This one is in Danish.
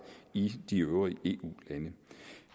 i de øvrige eu lande